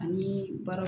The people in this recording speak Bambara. Ani baara